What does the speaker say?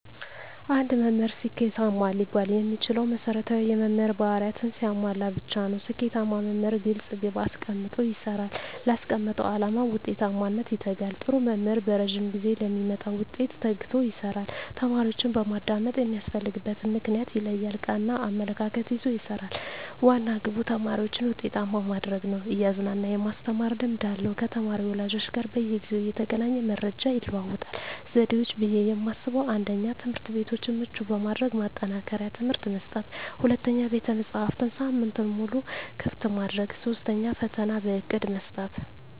አንድ መምህር ስኬታማ ሊባል የሚችለው መሰረታዊ የመምህር ባህርያትን ሲያሟላ ብቻ ነው። ስኬታማ መምህር ግልፅ ግብ አስቀምጦ ይሰራል: ላስቀመጠው አላማ ውጤታማነት ይተጋል, ጥሩ መምህር በረዥም ጊዜ ለሚመጣ ውጤት ተግቶ ይሰራል። ተማሪዎችን በማዳመጥ የሚያስፈልግበትን ምክንያት ይለያል ,ቀና አመለካከት ይዞ ይሰራል, ዋና ግቡ ተማሪዎችን ውጤታማ ማድረግ ነው እያዝናና የማስተማር ልምድ አለው ከተማሪ ወላጆች ጋር በየጊዜው እየተገናኘ መረጃ ይለዋወጣል። ዘዴዎች ብዬ የማስበው 1ኛ, ትምህርትቤቶችን ምቹ በማድረግ ማጠናከሪያ ትምህርት መስጠት 2ኛ, ቤተመፅሀፍትን ሳምንቱን ሙሉ ክፍት ማድረግ 3ኛ, ፈተና በእቅድ መስጠት።